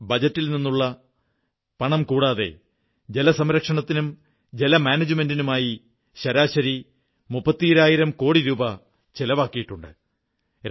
എയുടെ ബജറ്റിൽ നിന്നുള്ളതു കൂടാതെ ജലസംരക്ഷണത്തിനും ജല മാനേജ്മെന്റിനുമായി ശരാശരി മുപ്പത്തിരണ്ടായിരം കോടി രൂപ ചിലവാക്കിയിട്ടുണ്ട്